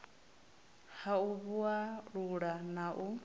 ha u vhalula na u